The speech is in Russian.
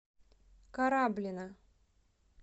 кораблино